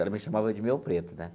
Ela me chamava de meu preto, né?